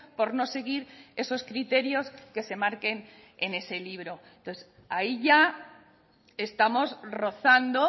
por no seguir esos criterios que se marquen en ese libro entonces ahí ya estamos rozando